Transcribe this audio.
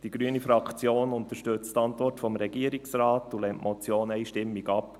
Die grüne Fraktion unterstützt die Antwort des Regierungsrates und lehnt die Motion einstimmig ab.